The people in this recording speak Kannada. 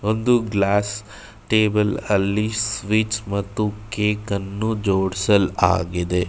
ಒಂದು ಗ್ಲಾಸ್ ಟೇಬಲ್ ಅಲ್ಲಿ ಸ್ವಿಚ್ ಮತ್ತು ಕೇಕ್ ಅನ್ನು ಜೋಡಿಸ್ ಲಾಗಿದೆ.